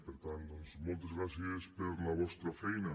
per tant doncs moltes gràcies per la vostra feina